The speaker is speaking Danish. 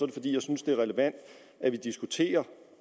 det fordi jeg synes det er relevant at diskutere